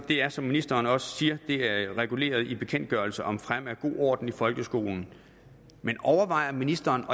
er som ministeren også siger reguleret i bekendtgørelse om fremme af god orden i folkeskolen overvejer ministeren